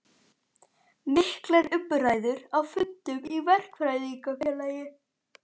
Miklar umræður á fundum í Verkfræðingafélagi